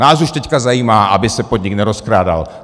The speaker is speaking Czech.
Nás už teď zajímá, aby se podnik nerozkrádal.